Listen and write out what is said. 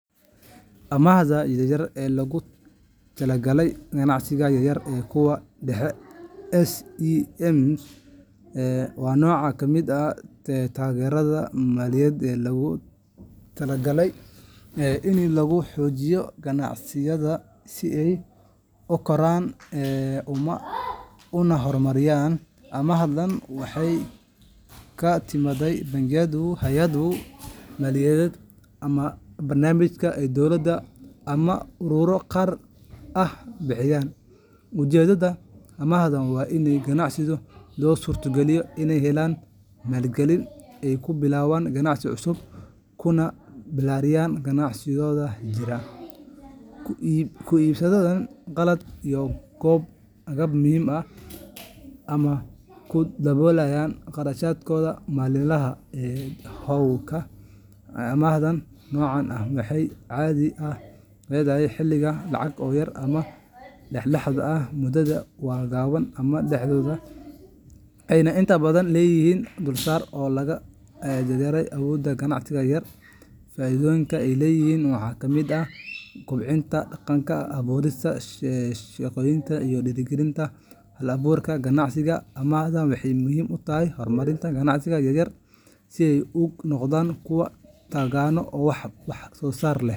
Amaahda yaryar ee loogu talagalay ganacsiyada yaryar iyo kuwa dhexe SMEs waa nooc ka mid ah taageerada maaliyadeed oo loogu talagalay in lagu xoojiyo ganacsiyadaas si ay u koraan una horumaraan. Amaahdani waxay ka timaadaa bangiyada, hay’adaha maaliyadeed, ama barnaamijyo ay dowladdu ama ururro gaar ah bixiyaan. Ujeedada amaahdani waa in ganacsiyada loo suurogeliyo inay helaan maalgelin ay ku bilaabaan ganacsi cusub, ku ballaariyaan ganacsigooda jira, ku iibsadaan qalab iyo agab muhiim ah, ama ku daboolaan kharashaadka maalinlaha ah ee hawlgalka. Amaahda noocan ah waxay caadi ahaan leedahay xaddiga lacag oo yar ama dhexdhexaad ah, muddadeedu waa gaaban ama dhexdhexaad, waxayna inta badan leedahay dulsaarka oo la jaanqaadaya awoodda ganacsatada yaryar. Faa’iidooyinka ay leedahay waxaa ka mid ah kobcinta dhaqaalaha, abuurista shaqooyin, iyo dhiirrigelinta hal-abuurka ganacsiga. Amaahdan waxay muhiim u tahay horumarinta ganacsiyada yaryar si ay u noqdaan kuwo taagan oo wax soo saar leh.